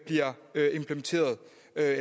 at